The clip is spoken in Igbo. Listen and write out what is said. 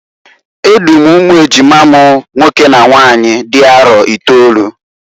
E du m umu ejima m nwoke na nwanyị dị arọ itolu.